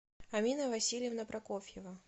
амина васильевна прокофьева